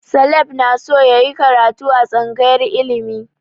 Caleb na so yayi karatu a tsangayar ilimi